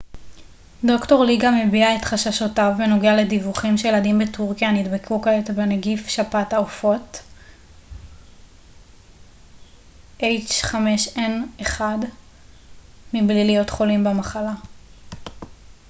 "ד""ר לי גם הביע את חששותיו בנוגע לדיווחים שילדים בטורקיה נדבקו כעת בנגיף שפעת העופות a h5n1 מבלי להיות חולים במחלה.